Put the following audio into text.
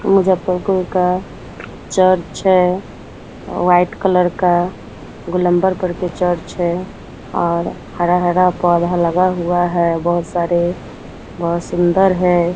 मुजफ्फरपुर का चर्च है white colour का गोलंबर पर के चर्च है और हरा-हरा पौधा लगा हुआ है बहुत सारे बहुत सुंदर है ।